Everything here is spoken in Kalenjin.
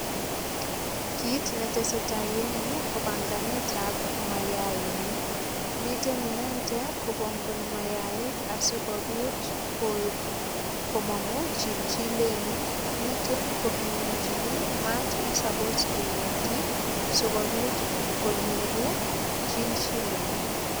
Kit ne teseta eng yu ko panganetab mayainik. Miten inendet kopongoni mayaik asigopit komongu chilchilenik. Miten kopimanchini mat ne suppose keyotyi sigopit konyoru chilchilenik.